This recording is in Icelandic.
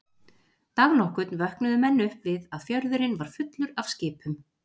Dag nokkurn vöknuðu menn upp við að fjörðurinn var fullur af skipum.